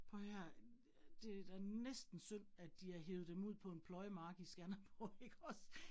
Prøv at høre her øh det da næsten synd, at de har hevet dem ud på en pløjemark i Skanderborg ikke også